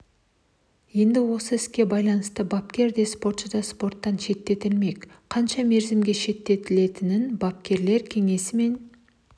енді осы іске байланысты бапкер де спортшы да спорттан шеттетілмек қанша мерзімге шеттетілетінін бапкерлер кеңесі мен